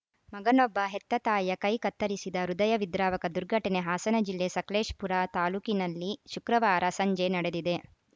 ಮಗನೊಬ್ಬ ಹೆತ್ತ ತಾಯಿಯ ಕೈ ಕತ್ತರಿಸಿದ ಹೃದಯ ವಿದ್ರಾವಕ ದುರ್ಘಟನೆ ಹಾಸನ ಜಿಲ್ಲೆ ಸಕಲೇಸಪುರ ತಾಲೂಕಿನಲ್ಲಿ ಶುಕ್ರವಾರ ಸಂಜೆ ನಡೆದಿದೆ